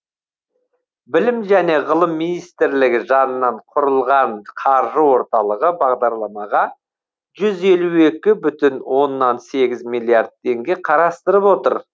білім және ғылым министрлігі жанынан құрылған қаржы орталығы бағдарламаға жүз елу екі бүтін оннан сегіз миллиард теңге қарастырып отыр